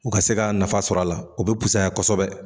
U ka se ka nafa sɔrɔ a la o bɛ pusaya kosɛbɛ